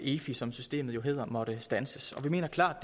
efi som systemet hedder måtte standses og vi mener klart